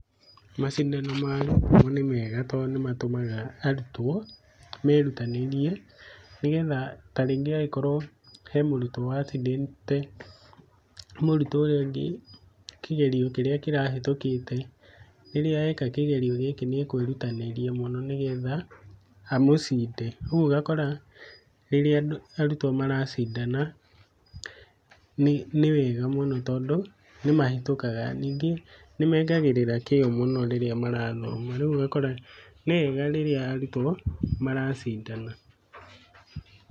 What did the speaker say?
Macindano magĩthomo nĩ mega tandũ nĩmatũmaga arutwo merutanĩrie nĩgetha tarĩngĩ okorwo hemũrutwo wacindĩte mũrutwo ũcio ũngĩ kĩgerio kĩrĩa kĩrahĩtũkĩte, rĩrĩa eka kĩgerio gĩkĩ nĩakwĩrutanĩria mũno nĩgetha amũcinde. Rĩu ũgakora rĩrĩa arutwo maracindana nĩwega mũno tondũ nĩmahĩtũkaga, nyingĩ nĩmekagĩrĩra kĩo mũno rĩrĩa marathoma rĩu ũgakora nĩwega mũno rĩrĩa arutwo maracindana.